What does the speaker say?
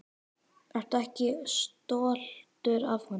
Ertu ekki stoltur af honum?